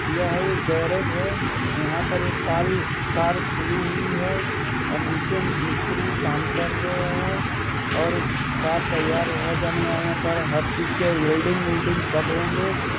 यह एक गेरेज है यहाँ पर एक काल कार खुली हुई है नीचे मिस्त्री काम कर रहे है और कार तैयार हो जाने पर हर चीज के वेल्डिंग वुल्डिंग सब होंगे।